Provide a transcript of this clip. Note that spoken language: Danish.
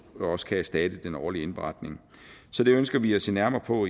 også kan erstatte den årlige indberetning så det ønsker vi at se nærmere på